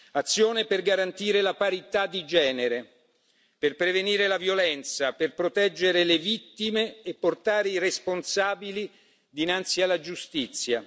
Azione per garantire la parità di genere, per prevenire la violenza, per proteggere le vittime e portare i responsabili dinanzi alla giustizia.